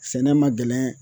Sɛnɛ ma gɛlɛn